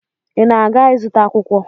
Ị na-aga ịzụta akwụkwọ?